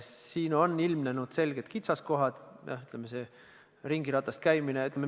Siin on ilmnenud selged kitsaskohad, mida see n-ö ringiratast käimine on tekitanud.